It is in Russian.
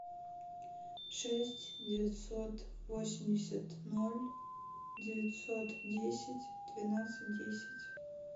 шесть девятьсот восемьдесят ноль девятьсот десять двенадцать десять